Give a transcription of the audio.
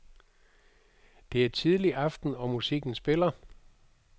Det er tidlig aften og musikken spiller.